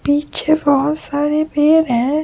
पीछे बहोत सारे पेड़ हैं।